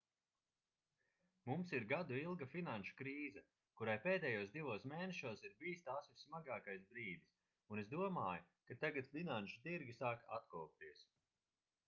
mums ir gadu ilga finanšu krīze kurai pēdējos divos mēnešos ir bijis tās vissmagākais brīdis un es domāju ka tagad finanšu tirgi sāk atkopties